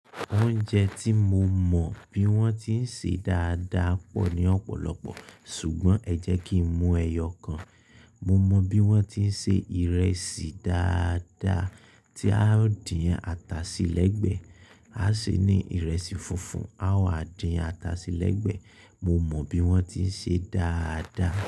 Oúnjẹ tí mo mọ bí wọ́n ti ń ṣe dáadáa pọ̀ ní ọ̀pọ̀lọpọ̀, ṣùgbọ́n ẹ jẹ́ kí mú ẹyọ kan. Mo mọ bí wọ́n ti ń se ìrẹsì dáadáa tí a ó dín ata sí lẹ́gbẹ̀ẹ́. A ṣe ní ìrẹsì funfun, a wa dín ata sí lẹ́gbẹ̀ẹ́. Mo mọ bí wọ́n ti ń ṣe dáadáa.